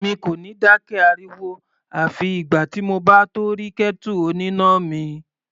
Èmi kò ní dákẹ́ ariwo àfi ìgbà tí mo bá tó rí kẹ́tù oníná mi.